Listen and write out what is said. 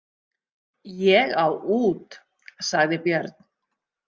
Ég á út, sagði Björn.